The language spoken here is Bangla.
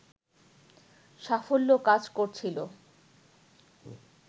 সাফল্য কাজ করছিল